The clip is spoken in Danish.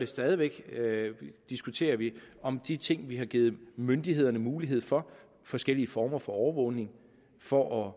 stadig væk diskuterer vi om de ting vi har givet myndighederne mulighed for forskellige former for overvågning for